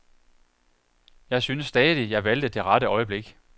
Jeg synes stadig, jeg valgte det rette øjeblik.